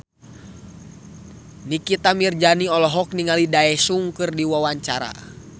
Nikita Mirzani olohok ningali Daesung keur diwawancara